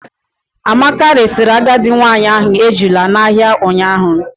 Amaka resiri agadi nwanyị ahụ ejula n'ahịa ụnyaahụ.